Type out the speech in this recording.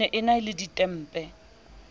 ne e na le ditempe